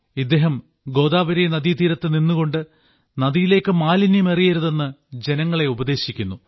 ഇദ്ദേഹം ഗോദാവരീ നദീതീരത്ത് നിന്നുകൊണ്ട് നദിയിലേക്ക് മാലിന്യം എറിയരുതെന്ന് ജനങ്ങളെ ഉപദേശിക്കുന്നു